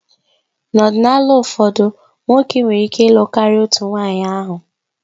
N'ọdịnala ụfọdụ, nwoke nwere ike ịlụ karịa otu nwunye ahụ